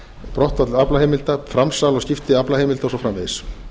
brottfall aflaheimilda framsal og skipti aflaheimilda og svo framvegis